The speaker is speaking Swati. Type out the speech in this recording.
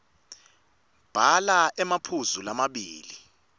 bhala emaphuzu lamabili